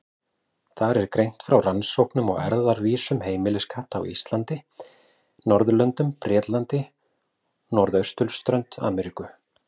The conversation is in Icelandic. Þar er greint frá rannsóknum á erfðavísum heimiliskatta á Íslandi, Norðurlöndum, Bretlandi og norðausturströnd Ameríku.